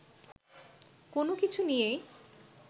কোনো কিছু নিয়েই